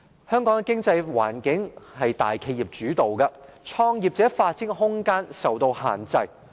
香港的經濟環境由大企業主導，創業者發展的空間受到限制。